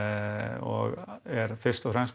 og er fyrst og fremst